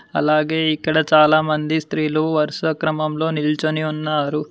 అలాగే ఇక్కడ చాలామంది స్త్రీలు వరుస క్రమంలో నిల్చుని ఉన్నారు.